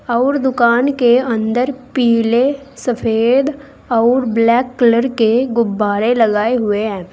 आउर दुकान के अंदर पीले सफेद आउर ब्लैक कलर के गुब्बारें लगाए हुए हैं।